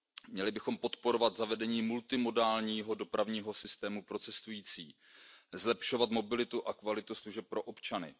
Měli bychom podporovat zavedení multimodálního dopravního systému pro cestující, zlepšovat mobilitu a kvalitu služeb pro občany.